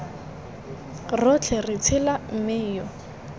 rotlhe re tshela mme yo